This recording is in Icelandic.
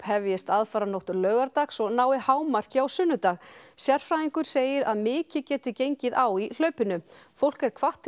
hefjist aðfaranótt laugardags og nái hámarki á sunnudag sérfræðingur segir að mikið geti gengið á í hlaupinu fólk er hvatt